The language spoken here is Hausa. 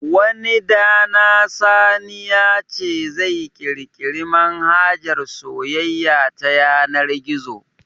Wani dana sani ya ce zai kirkiri manhajar soyayya ta yanar gizo